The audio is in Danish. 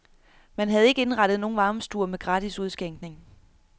Man havde ikke indrettet nogle varmestuer med gratis udskænkning.